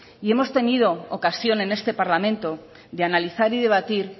hemos tenido ocasión en este parlamento de analizar y debatir